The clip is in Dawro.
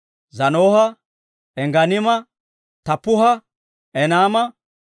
Zaanoha, Engganiima, Taappuha, Enaama,